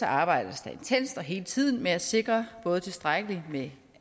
arbejdes der intenst hele tiden med at sikre både tilstrækkelig med